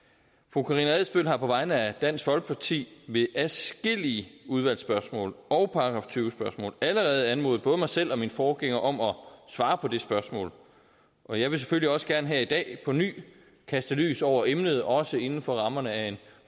fru karina adsbøl har på vegne af dansk folkeparti ved adskillige udvalgsspørgsmål og § tyve spørgsmål allerede anmodet både mig selv og min forgænger om at svare på det spørgsmål og jeg vil selvfølgelig også gerne her i dag på ny kaste lys over emnet også inden for rammerne af en